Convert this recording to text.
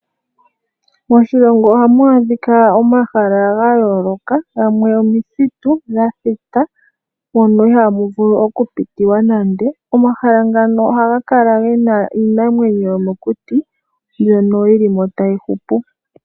Moshilongo ohamu adhika omahala ga yooloka gamwe omithitu dha thita moka ihamu vulu okupitilwa nande. Omahala ngaka ohaga kala ge na iinamwneyo yomokuti mbyoka yi li mo tayi hupu.